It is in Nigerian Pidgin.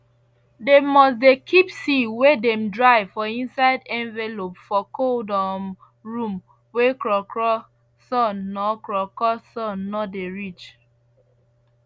dem must dey keep seed wey dem dry for inside envelope for cold um room wey krokro sun nor krokro sun nor dey reach